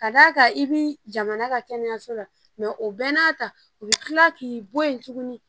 Ka d'a kan i bi jamana ka kɛnɛyaso la o bɛɛ n'a ta u bi kila k'i bɔ yen tuguni